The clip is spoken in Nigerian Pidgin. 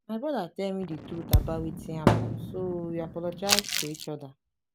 my brother tell me the truth about wetin happen so we apologize to each other